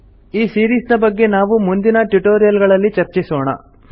ಈ ಸಿರೀಸ್ ನ ಬಗ್ಗೆ ನಾವು ಮುಂದಿನ ಟ್ಯುಟೋರಿಯಲ್ ಗಳಲ್ಲಿ ಚರ್ಚಿಸೋಣ